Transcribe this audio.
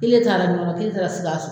Kelen taara ɲɔnɔ kelen taara sikaso